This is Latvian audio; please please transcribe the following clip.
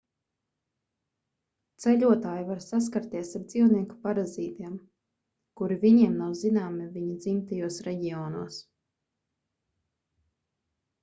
ceļotāji var saskarties ar dzīvnieku parazītiem kuri viņiem nav zināmi viņu dzimtajos reģionos